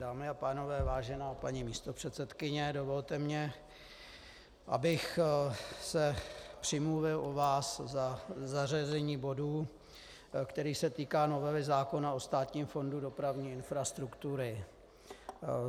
Dámy a pánové, vážená paní místopředsedkyně, dovolte mi, abych se přimluvil u vás za zařazení bodu, který se týká novely zákona o Státním fondu dopravní infrastruktury.